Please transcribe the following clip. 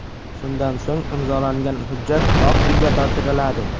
Shundan so‘ng imzolangan hujjat Oq uyga topshiriladi.